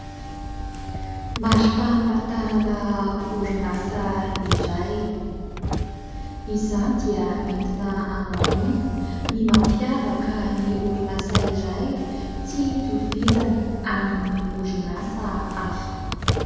Marim-pahamantarana orinasa iray. Izany dia entina anehoana ny mampiavaka ny orinasa iray tsy itovizany amin'ny orinasa hafa.